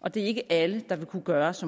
og det er ikke alle der vil kunne gøre som